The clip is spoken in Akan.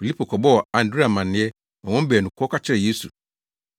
Filipo kɔbɔɔ Andrea amanneɛ ma wɔn baanu kɔka kyerɛɛ Yesu.